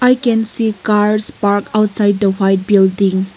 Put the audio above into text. i can see cars parked outside the white building.